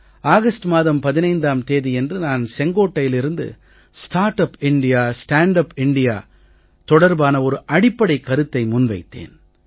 August மாதம் 15ம் தேதியன்று நான் செங்கோட்டையிலிருந்து start up India stand up India தொடர்பான ஒரு அடிப்படை கருத்தை முன்வைத்தேன்